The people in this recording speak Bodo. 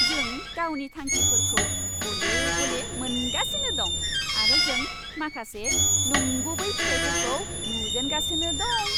जों गावनि थांखिफोरखौ गले गले मोनगासिनो दं, आरो जों माखासे नंगुबै फिथाइफोरखौ नुजेनगासिनो दं।